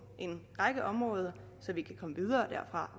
en række områder så vi kan komme videre